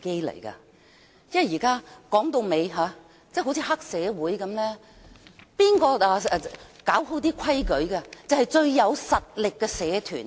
說到底，現況就好像黑社會一般，誰有權處理規矩的，就是最有實力的社團。